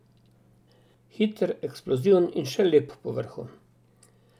Hiter, eksploziven in še lep povrhu.